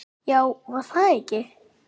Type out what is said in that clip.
Já, var það ekki?